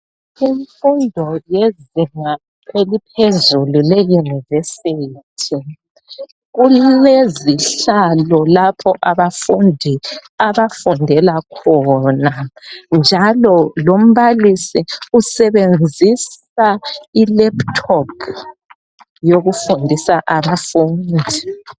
Imfundo yezinga eliphezulu leYunivesi keluzihlalo lapho abafundi abafundela khona njalo lombalisi usebenzisa i"laptop"yokufundisa abafundi .